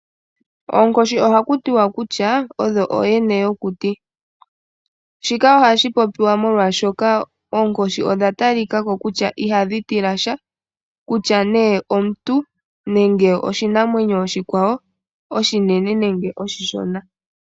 Oonkoshi ohaku tiwa kutya oyo ooyene yokuti, shika ohashi popiwa oshoka okwa talikako kutya ihadhi tilasha kutya ne omuntu nenge oshinanwenyo oshikwawo oshinene nenge oshishona.